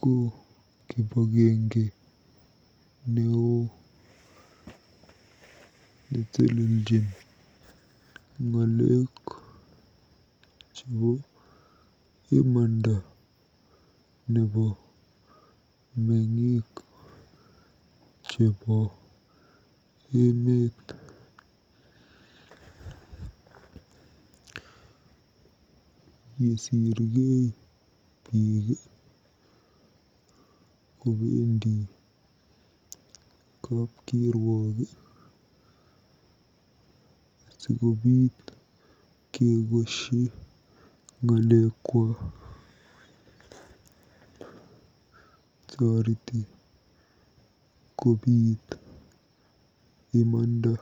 ko kibagenge neoo neteleljin ng'alek chebo imanda nebo meng'ik chebo emet. Yesirkei biik kobendi kapkiruok sikobiit kekoshi ng'alekwa. Toreti kobiit imanda.